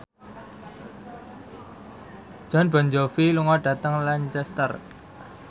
Jon Bon Jovi lunga dhateng Lancaster